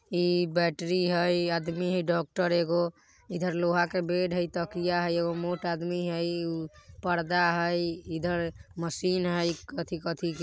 इ बैटरी हई आदमी हई डॉक्टर एगो इधर लोहा के बेड हई इ तकिया हई एगो मोट आदमी हई इ ऊ पर्दा हई इधर मशीन हई कथि-कथि के।